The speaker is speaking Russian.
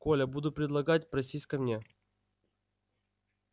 коля будут предлагать просись ко мне